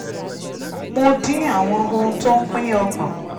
mo dín àwọn ohun tó ń pín ọkàn